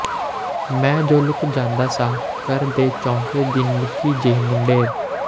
ਮੈਂ ਜੋ ਲੁਕ ਜਾਂਦਾ ਸਾਂ ਘਰ ਦੇ ਚੌਂਕੇ ਦੀ ਨਿੱਕੀ ਜਹੀ ਮੁੰਡੇਰ